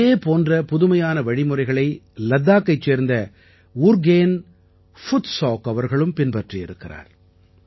இதே போன்ற புதுமையான வழிமுறைகளை லடாக்கைச் சேர்ந்த உர்கேன் ஃபுத்சௌக் அவர்களும் பின்பற்றியிருக்கிறார்